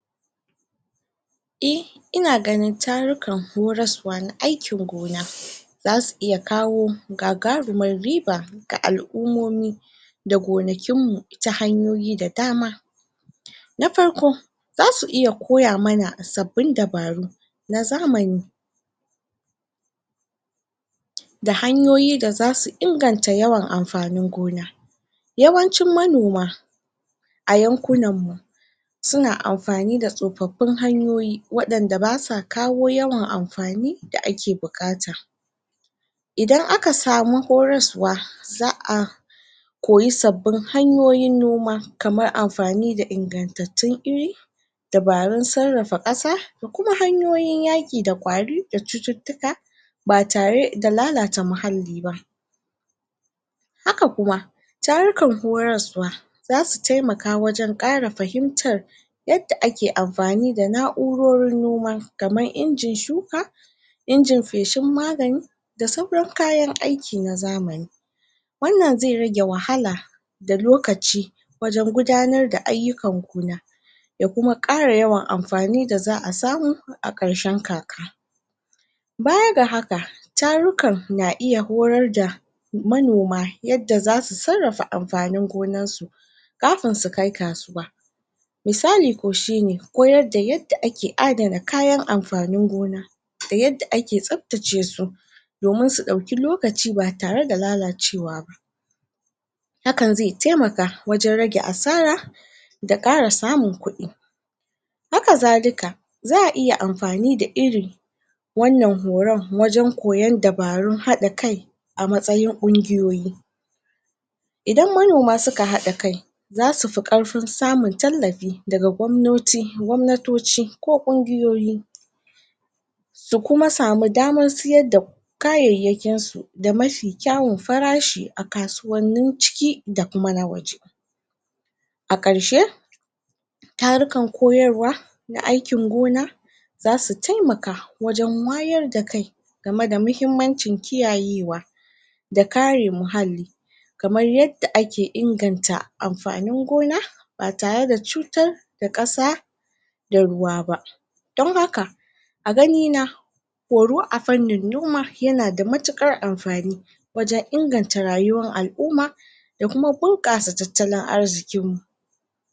Ina ganin tarukan horasuwa na aikin gona zasu iya kawo ga garumar riba ga alumomi da gonakin mu, ta hanyoyi da dama. Na farko zasu iya koya mana a sabbin dabaru na zamani da hanyoyi da zasu inganta yawan amfanin gona yawancin manoma a yankunan mu su na amfani da sofafin hanyoyi wadanda ba sa kawo yawan amfani da ake bukata. Idan aka samu horarsuwa, zaa koyi sabbin hanyoyin noma kamar amfani da ingantatun iri dabarun tsarafa kasa da kuma hanyoyin yaki da kwari da cututuka ba tare da lallata da muhalli ba. Haka kuma, tarukan horarsuwa za su taimaka wajen kara fahimtar yadda ake amfani da naurorin noma kaman injin shuka, injin feshin magani, da sauran kayan aiki na zamani. Wannan ze rage wahala da lokaci wajen gudanar da ayukan gona da kuma kara yawan amfani da zaa samu a karshen kaka. Baya ga haka, tarukan na iya horar da manoma yadda za su tsarafa amfanin gonan su kafun su kai kasuwa. Misali ko shi ne, koyar da yadda ake addana kayan amfanin gona da yadda ake sabtace su domin su dauki lokaci ba tare da lallacewa ba. Hakan ze taimaka wajen rage asara, da kara samun kudi haka zaa iya amfani da iri wanan horon wajen koyan dabarun hada kai a matsayin ƙunguyoyi. Idan manoma su ka hada kai, za su fi karfin samun tallafi da gwamnoti, gwamnatoci ko kunguyoyi, su kuma samu damar siyar da kayayakin su, da mafi kyawan farashi a kasuwanin ciki da kuma na waje, a karshe tarukan koyarwa, na aikin gona za su taimaka wajen wayar da kai gami da muhimmancin kiyaye wa da kare muhalli kamar yadda ake inganta amfanin gona ba tare da cutar da kasa da ruwa ba don haka a gani na, horo a fannin noma ya na da matukar amfani wajen inganta rayuwar alumma da kuma bunkassa tatallan arzikin mu.